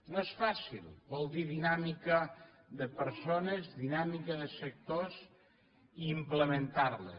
no és fàcil vol dir dinàmica de persones dinàmica de sectors i implementar les